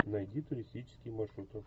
найди туристические маршруты